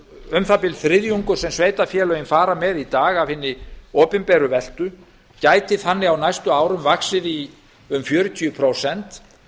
um það bil þriðjungur sem sveitarfélögin fara með í dag af hinni opinberu veltu gæti þannig á næstu árum vaxið í um fjörutíu prósent